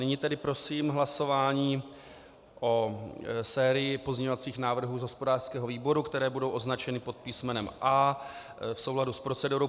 Nyní tedy prosím hlasování o sérii pozměňovacích návrhů z hospodářského výboru, které budou označeny pod písmenem A v souladu s procedurou.